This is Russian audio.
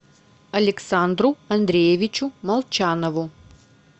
александру андреевичу молчанову